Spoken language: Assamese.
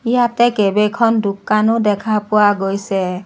ইয়াতে কেইবেখন দোকানো দেখা পোৱা গৈছে।